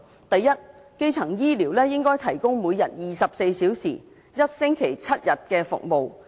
第一，基層醫療應該提供每天24小時、一星期7天的服務。